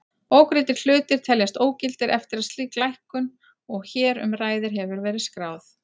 Ógreiddir hlutir teljast ógildir eftir að slík lækkun og hér um ræðir hefur verið skráð.